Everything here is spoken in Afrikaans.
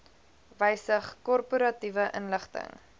wysig korporatiewe inligting